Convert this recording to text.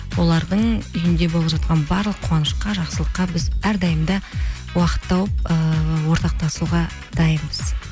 олардың үйінде болып жатқан барлық қуанышқа жақсылыққа біз әрдайым да уақыт тауып ыыы ортақтасуға дайынбыз